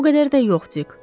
O qədər də yox, Dik.